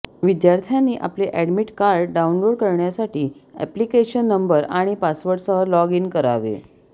विद्यार्थ्यांनी आपले admit card download करण्यासाठी अॅप्लिकेशन नंबर आणि पासवर्डसह लॉग इन करावे